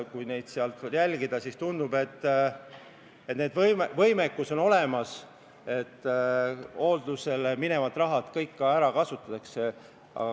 Kui seda kõike jälgida, siis tundub, et võimekus on olemas, et hooldusele minevad rahad kõik ka ära kasutatada.